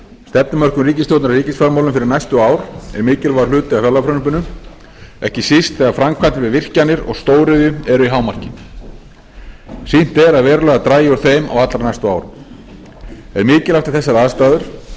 stefnumörkun ríkisstjórnarinnar í ríkisfjármálum fyrir næstu ár er mikilvægur hluti af fjárlagafrumvarpinu ekki síst þegar framkvæmdir við virkjanir og stóriðju eru í hámarki og sýnt er að verulega dragi úr þeim á allra næstu árum er mikilvægt við þessar aðstæður